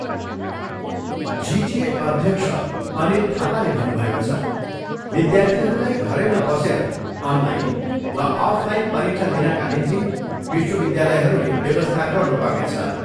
जिटिए अध्यक्ष अनित थापाले भन्नुभएको छ, विध्यार्थीहरूलाई घरैमा बसेर अनलाइन वा अफ लाईन परीक्षा दिनाका निम्ति विश्वविध्यालयहरूले व्यवस्था गर्नुपर्नेछ।